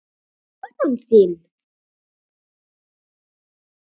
Konan þín?